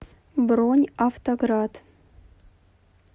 бронь авто град